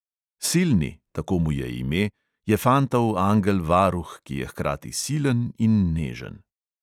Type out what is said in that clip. Silni, tako mu je ime, je fantov angel varuh, ki je hkrati silen in nežen.